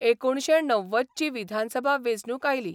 एकुणशे णव्वदची विधानसभा वेंचणूक आयली.